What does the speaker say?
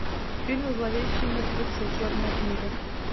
фильм зловещие мертвецы черная книга